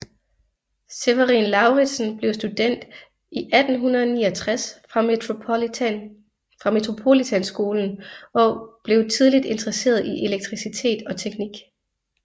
Severin Lauritzen blev student 1869 fra Metropolitanskolen og blev tidligt interesseret i elektricitet og teknik